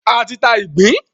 A ti ta ìgbín.